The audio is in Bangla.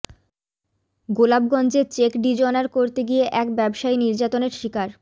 গোলাপগঞ্জে চেক ডিজঅনার করতে গিয়ে এক ব্যবসায়ী নির্যাতনের শিকার